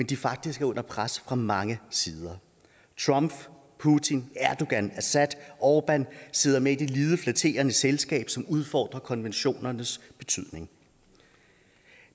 de faktisk er under pres fra mange sider trump putin erdogan assad orbán sidder med i det lidet flatterende selskab som udfordrer konventionernes betydning